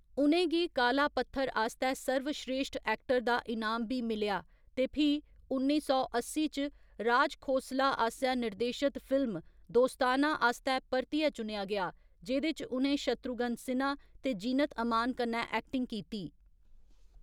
उ'नें गी काला पत्थर आस्तै सर्वस्रेश्ठ ऐक्टर दा इनाम बी मिलेआ ते फ्ही उन्नी सौ अस्सी च राज खोसला आसेआ निर्देशत फिल्म दोस्ताना आस्तै परतियै चुनेआ गेआ, जेह्‌‌‌दे च उ'नें शत्रुघ्न सिन्हा ते जीनत अमान कन्नै ऐक्टिंग कीती।